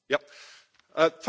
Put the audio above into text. Thank you for that.